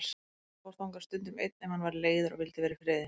Hann fór þangað stundum einn ef hann var leiður og vildi vera í friði.